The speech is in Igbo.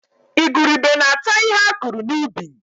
Igurube na-ata ihe a kụrụ n'ubi